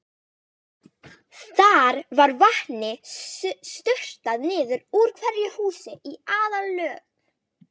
Þar var vatni sturtað niður úr hverju húsi í aðallögn.